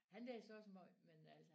Han læser også måj men øh